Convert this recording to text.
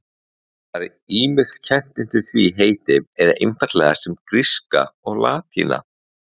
Það er ýmist kennt undir því heiti eða einfaldlega sem gríska og latína.